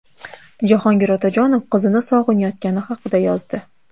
Jahongir Otajonov qizini sog‘inayotgani haqida yozdi.